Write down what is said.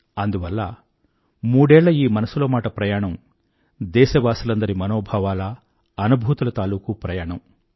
అందువల్ల మూడేళ్ళ ఈ మనసులో మాట ప్రయాణం దేశవాసులందరి మనోభావాల అనుభూతుల తాలూకూ ప్రయాణం